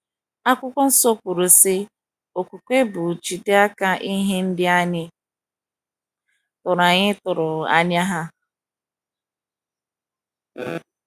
akwụkwo nsọ kwuru, sị: “ Okwukwe bụ ijide aka ihe ndị anyị tụrụ anyị tụrụ anya ha. ”